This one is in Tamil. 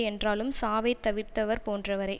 என்றாலும் சாவைத் தவிர்த்தவர் போன்றவரே